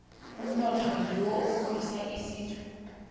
umnotho ngiwo okhulisa isizwe